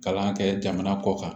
Kalan kɛ jamana kɔ kan